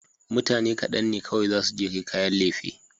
Mutane kaɗan ne kawai zasu je kai kayan lefe.